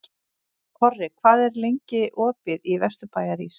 Korri, hvað er lengi opið í Vesturbæjarís?